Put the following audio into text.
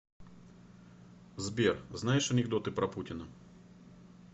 сбер знаешь анекдоты про путина